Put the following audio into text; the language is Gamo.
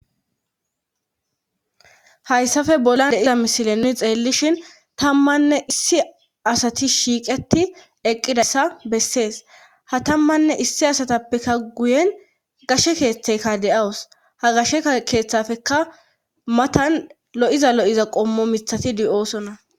Hayssafe bolan deiza misilenni xeellishin tammanne issi asati shiiqeti eqqidassa bessees ha tammanne issi asatappeka guyen gashe keeththeyka de7awus ha gasheka keeththafeka matan lo'iza lo'iza qommo mithati di'oosona.